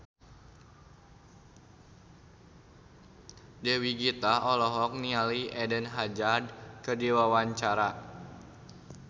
Dewi Gita olohok ningali Eden Hazard keur diwawancara